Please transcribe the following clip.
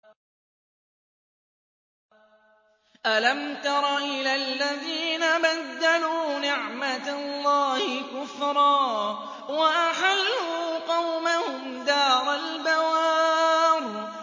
۞ أَلَمْ تَرَ إِلَى الَّذِينَ بَدَّلُوا نِعْمَتَ اللَّهِ كُفْرًا وَأَحَلُّوا قَوْمَهُمْ دَارَ الْبَوَارِ